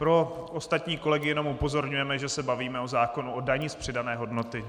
Pro ostatní kolegy jenom upozorňujeme, že se bavíme o zákonu o dani z přidané hodnoty.